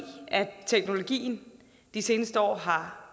teknologien de seneste år har